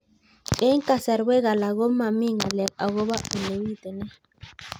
Eng' kasarwek alak ko mami ng'alek akopo ole pitunee